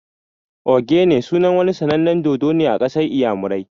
"Ogene" sunan wani sanannen dodo ne a ƙasar inyamurai